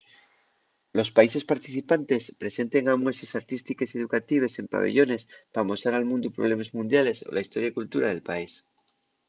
los países participantes presenten amueses artístiques y educatives en pabellones p’amosar al mundu problemes mundiales o la historia y cultura del país